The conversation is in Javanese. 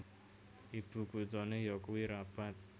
Ibu kuthané yakuwi Rabat